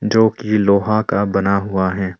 जो की लोहा का बना हुआ है।